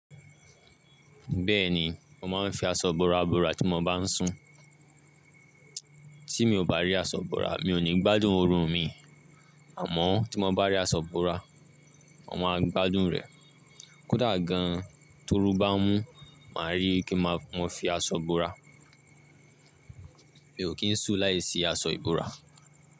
Bẹ́ẹ̀ni, mo máa ń fi aṣọ ibora bora tí mo bá ń sùn. Tí mi ò bá rí aṣọ ibora, mi ò ní gbádùn orun mi àmọ́ tí mo bá rí aṣọ ibora, mo máa gbádùn rẹ̀. Kódà gan-an, torú bá mú, mà rí kí mo fi aṣọ bora. Mi ò kí ń sùn láìsí aṣọ ìbora.